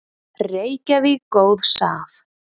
Reykjavík góðs af.